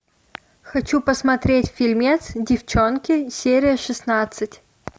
хочу посмотреть фильмец девчонки серия шестнадцать